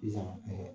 Sisan